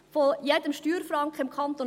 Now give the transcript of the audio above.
Von 100 Steuerfranken im Kanton